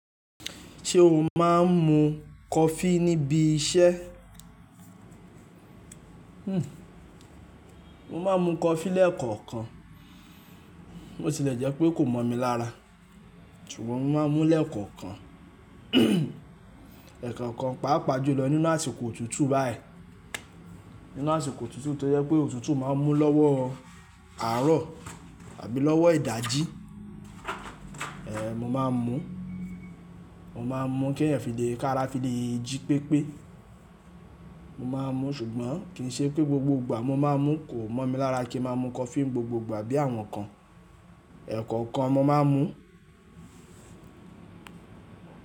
Ṣé o máa ń mu coffee ní ibi iṣẹ́? Hmm, mo máa ń mu coffee lẹ́ẹ̀kọ̀kan. Bó ti lè jẹ́ pé kò mọ̀ mi lára, ṣùgbọ́n mo máa ń mú lẹ́ẹ̀koọ̀kan. Eekookan pàápàá jùlọ nínú àsìkò òtútù báyìí. Nínú àsìkò òtútù tó jẹ́ pé òtútù máa ń mú lọ́wọ́ àárọ̀ àbí lọ́wọ́ ìdajì. Ẹ̀h, mo máa ń mú, mo máa ń mú kí ènìyàn fi le. Ka ara fi lè jí pépé. Mo máa ń mú ṣùgbọ́n kì í ṣe pé gbogbo ìgbà mo máa ń mú, kò mọ̀ mi lára kí n máa mu coffee gbogbo ìgbà bí àwọn kan. Ẹ̀ẹ̀kọ̀kan mo máa ń mú.